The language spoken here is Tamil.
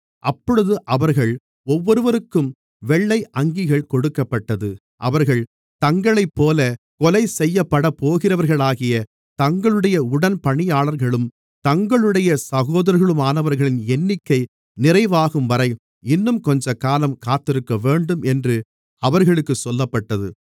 அப்பொழுது அவர்கள் ஒவ்வொருவருக்கும் வெள்ளை அங்கிகள் கொடுக்கப்பட்டது அவர்கள் தங்களைப்போலக் கொலைசெய்யப்படப்போகிறவர்களாகிய தங்களுடைய உடன்பணியாளர்களும் தங்களுடைய சகோதரர்களுமானவர்களின் எண்ணிக்கை நிறைவாகும்வரை இன்னும் கொஞ்சக்காலம் காத்திருக்கவேண்டும் என்று அவர்களுக்குச் சொல்லப்பட்டது